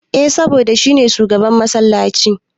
Eh saboda shi ne shugaban massalaci.